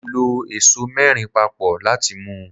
Mo lọ ẹso mẹ́rin papọ̀ láti mu.